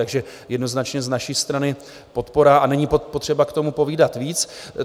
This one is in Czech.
Takže jednoznačně z naší strany podpora a není potřeba k tomu povídat víc.